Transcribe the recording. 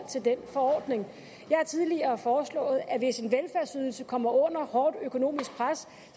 til den forordning jeg har tidligere foreslået at hvis en velfærdsydelse kommer under hårdt økonomisk pres